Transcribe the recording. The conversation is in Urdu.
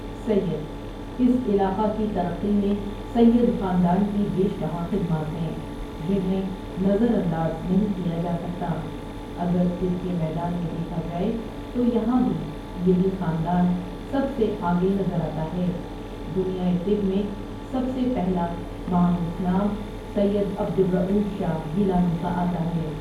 سید اس علاقہ کی ترقی میں سید خاندان کی بیش بہا خدمات ہیں جنہیں نظرانداز نہیں کیا جا سکتا اگر طب کے میدان میں دیکھا جاۓتویہاں بھی یہی خاندان سب سے آگے نظر آتا ہے دنیائے طب میں سب سے پہلا معروف نام سید عبد ارؤف شاہ گیلانی کا آتا ہے